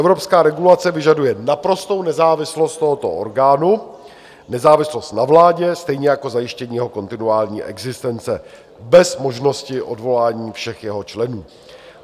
Evropská regulace vyžaduje naprostou nezávislost tohoto orgánu, nezávislost na vládě, stejně jako zajištění jeho kontinuální existence bez možnosti odvolání všech jeho členů.